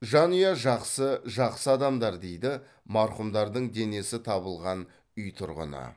жанұя жақсы жақсы адамдар дейді марқұмдардың денесі табылған үй тұрғыны